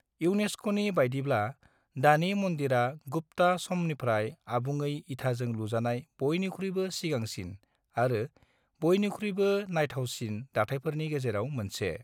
इउनेस्क'नि बायदिब्ला, "दानि मन्दिरा गुप्ता समनिफ्राय आबुङै इथाजों लुजानाय बयनिख्रुयबो सिगांसिन आरो बयनिख्रुयबो नायथावसिन दाथायफोरनि गेजेराव मोनसे"।